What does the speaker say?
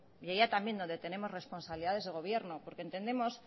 y allá también donde tenemos responsabilidades de gobierno porque entendemos